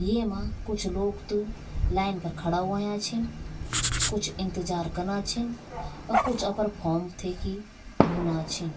येमा कुछ लोग त लाइन फर खड़ा हुयां छिन कुछ इन्तजार कना छिन और कुछ अपर फॉर्म थे की भुना छिन ।